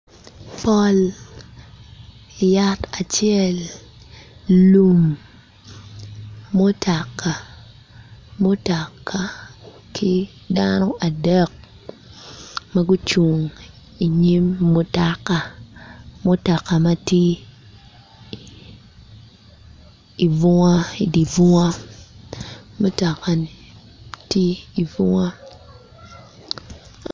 Pol yat acel lum mutoka ki dano adek ma gucung inyim mutoka mutoka ma idi bunga mutokani tye ibunga.